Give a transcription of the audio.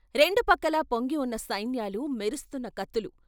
రెండుపక్కలా పొంగివున్న సైన్యాలు, మెరుస్తున్న కత్తులు....